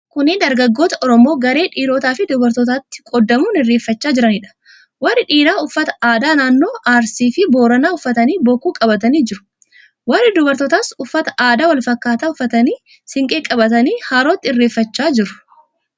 Kunneen dargaggoota Oromoo garee dhiirotaafi dubartootaatti qoodamuun irreeffachaa jiraniidha. Warri dhiiraa uffata aadaa naannoo Arsiifi Booranaa uffatanii bokkuu qabatanii jiru. Warri dubartootaas uffata aadaa wal fakkaataa uffatanii siinqee qabatanii harootti irreeffachaa jiru.